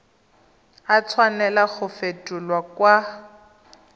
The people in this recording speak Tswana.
a tshwanela go fetolwa kwa